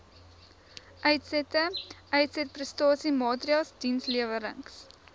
uitsette uitsetprestasiemaatreëls dienslewerings